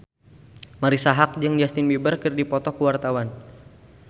Marisa Haque jeung Justin Beiber keur dipoto ku wartawan